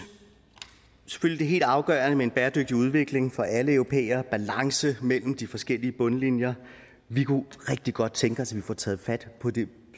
selvfølgelig helt afgørende med en bæredygtig udvikling for alle europæere en balance mellem de forskellige bundlinjer vi kunne rigtig godt tænke os at vi får taget fat på det